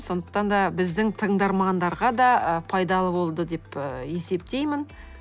сондықтан да біздің тыңдармандарға да ы пайдалы болды деп ы есептеймін